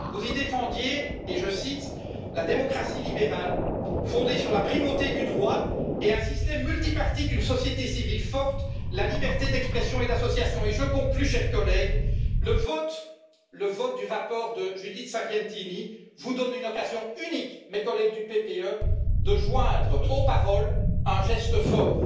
Vous y défendiez, je cite, la démocratie libérale, fondée sur la primauté du droit et un système multipartite, une société civile forte, la liberté d'expression et d'association et je conclus, chers collègues, le vote du rapport de Judith Sargentini vous donne une occasion unique, mes collègues du PPE, de joindre aux paroles un geste fort.